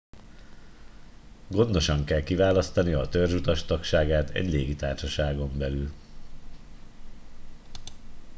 gondosan kell kiválasztania a törzsutas tagságát egy légitársaságon belül